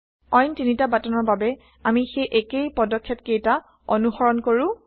অইন তিনিটা বাটনৰ বাবে আমি সেই একেই পদক্ষেপকেইটা অনুসৰণ কৰো